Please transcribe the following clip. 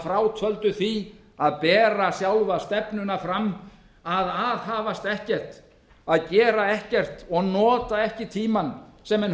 frátöldu því að bera sjálfa stefnuna fram að aðhafast ekkert að gera ekkert og nota ekki tímann sem menn